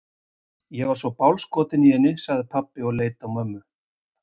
Ég er svo bálskotinn í henni, sagði pabbi og leit á mömmu.